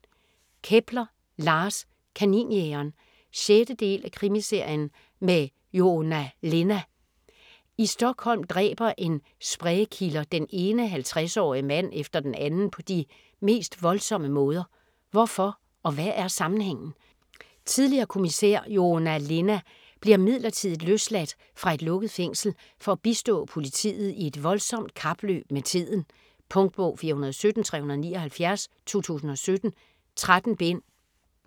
Kepler, Lars: Kaninjægeren 6. del af Krimiserien med Joona Linna. I Stockholm dræber en spree killer den ene 50-årige mand efter den anden på de mest voldsomme måder. Hvorfor og hvad er sammenhængen? Tidligere kommissær Joona Linna bliver midlertidigt løsladt fra et lukket fængsel for at bistå politiet i et voldsomt kapløb med tiden. Punktbog 417379 2017. 13 bind.